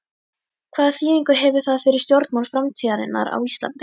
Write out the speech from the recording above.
Hvaða þýðingu hefur það fyrir stjórnmál framtíðarinnar á Íslandi?